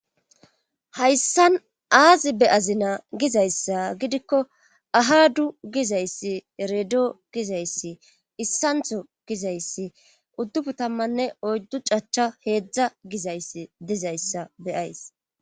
hayssan aazi be azina gizayssa gidikko ahadu gizayssi redo gizayssi issantho gizayssi uddubu tammanne oyddu cachcha heedzdza gizayssi dizayssa beyays